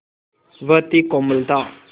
वह थी कोमलता